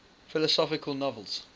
philosophical novels